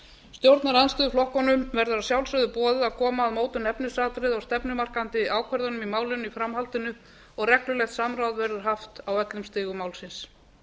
stjórnarandstöðuflokkunum verður að sjálfsögðu boðið að koma að mótun efnisatriða og stefnumarkandi ákvörðunum í málinu í framhaldinu og reglulegt samráð verður haft á öllum stigum málsins